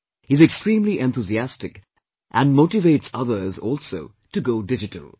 He is extremely enthusiastic and motivates others also to go digital